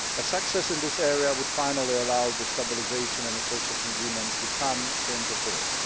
Success in this area would finally allow the Stabilisation and Association Agreement to come into force.